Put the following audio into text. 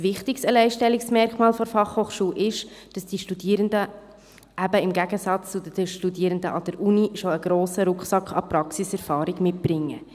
Ein wichtiges Alleinstellungsmerkmal der Fachhochschulen ist es, dass die Studierenden im Gegensatz zu den Studierenden an den Universitäten bereits einen grossen Rucksack an Praxiserfahrung mitbringen.